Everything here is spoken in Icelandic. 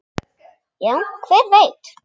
Já, hver veit?